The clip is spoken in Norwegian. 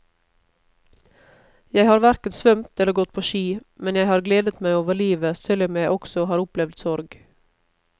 Jeg har hverken svømt eller gått på ski, men jeg har gledet meg over livet selv om jeg også har opplevd sorg.